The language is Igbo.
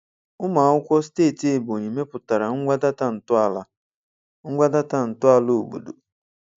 Ụmụ akwụkwọ steeti Ebonyi mepụtara ngwa data ntọala ngwa data ntọala obodo.